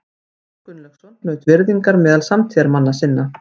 Björn Gunnlaugsson naut virðingar meðal samtíðarmanna sinna.